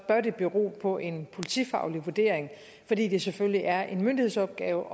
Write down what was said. det bero på en politifaglig vurdering fordi det selvfølgelig er en myndighedsopgave